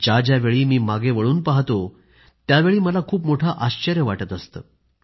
ज्या ज्यावेळी मी मागं वळून पाहतो त्यावेळी मला खूप मोठं आश्चर्य वाटत असतं